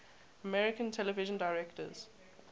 american television directors